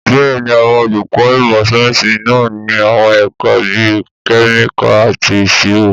Bẹ́ẹ̀ni, àwọn olùkọ́ ìmọ̀ sáyẹ́sì náà ní àwọn ẹ̀ka bíi Kẹ́míkà àti Ìṣirò.